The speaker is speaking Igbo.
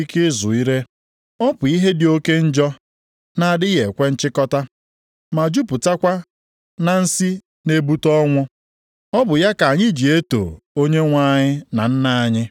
Ọ bụ ya ka anyị ji eto Onyenwe anyị na Nna anyị. Ọ bụkwa ya ka anyị ji abụ mmadụ ibe anyị ọnụ, bụ ndị Chineke mere nʼoyiyi nke ya.